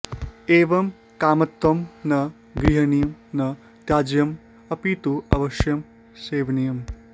एवं कामतत्त्वं न गर्हणीयं न त्याज्यम् अपि तु अवश्यं सेवनीयम्